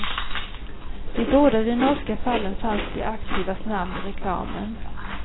I båda de norska fallen fanns de aktivas namn i reklamen.